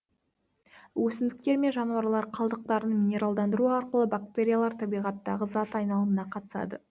өсімдіктер мен жануарлар қалдықтарын минералдандыру арқылы бактериялар табиғаттағы зат айналымына қатысады